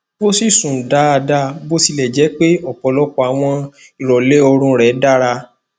o si sun daada biotilejepe ọpọlọpọ awọn irọlẹ oorun rẹ dara